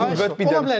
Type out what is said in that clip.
Sözünə qüvvət.